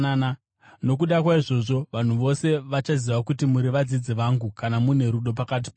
Nokuda kwaizvozvo, vanhu vose vachaziva kuti muri vadzidzi vangu kana mune rudo pakati penyu.”